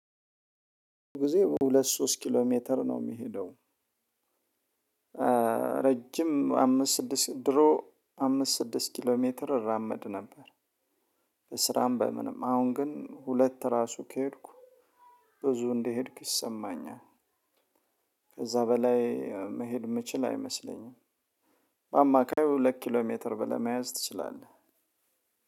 ጊዜ ሁለት ሶስት ኪሎ ሜትር ነው የሚሄደው። ረጅም አምስት ስድስት ድሮ አምስት ስድስት ኪሎ ሜትር እራመድ ነበር። ስራም በምንም አሁን ግን ሁለት ራሱ ከሄድኩ ብዙ እንደሄድኩ ይሰማኛል። ከዛ በላይ መሄድ የምችል አይመስለኝም። በአማካይ ሁለት ኪሎ ሜትር ብለህ መያዝ ትችላለህ።